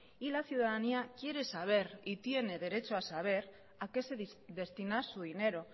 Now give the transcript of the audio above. y la ciudadanía quiere saber y tiene derecho a saber a qué se destina su dinero